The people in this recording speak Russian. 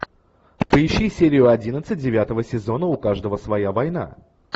поищи серию одиннадцать девятого сезона у каждого своя война